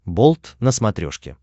болт на смотрешке